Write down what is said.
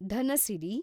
Dhanasiri